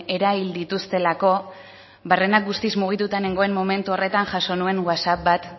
erahil dituztelako barrenak guztiz mugituta nengoen momentu horretanjaso nuen whatsapp bat